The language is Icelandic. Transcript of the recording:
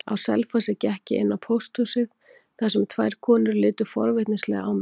Á Selfossi gekk ég inn á pósthúsið þar sem tvær konur litu forvitnislega á mig.